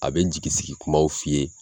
A bɛ jigi sigi kumaw f'i ye.